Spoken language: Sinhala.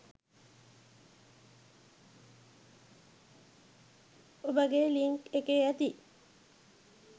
ඔබගේ ලින්ක් එකේ ඇති